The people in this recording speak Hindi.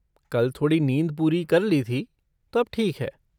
कल थोड़ी नींद पूरी कर ली थी, तो अब ठीक है।